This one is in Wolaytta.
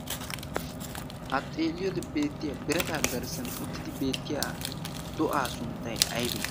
ha xeeliyoodi beettiya birata aggarissan uttidi beettiya do'aa sunttay aybe